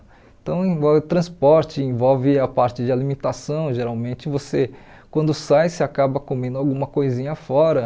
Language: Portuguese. Então, envolve o transporte envolve a parte de alimentação, geralmente você, quando sai, você acaba comendo alguma coisinha fora.